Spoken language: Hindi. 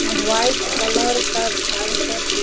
व्हाइट कलर का घर सब --